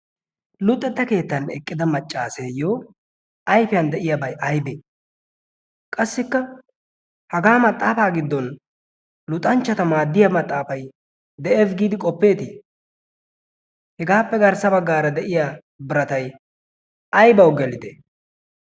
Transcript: luuxetta keettan eqqida maccaaseeyyo ayfiyan de'iyaabay aybee qassikka hagaa maxaafaa giddon luxanchchata maaddiya maxaafay de'es. giidi qoppeetii hegaappe garssa baggaara de'iya biratai aybawu gelide?